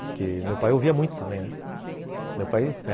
Porque meu pai ouvia muito também, né? meu pai